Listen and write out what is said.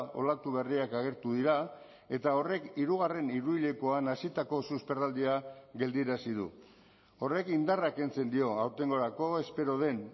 olatu berriak agertu dira eta horrek hirugarren hiruhilekoan hazitako susperraldia geldiarazi du horrek indarra kentzen dio aurtengorako espero den